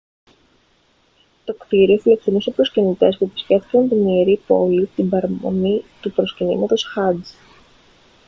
το κτίριο φιλοξενούσε προσκυνητές που επισκέφτηκαν την ιερή πόλη την παραμονή του προσκυνήματος χατζ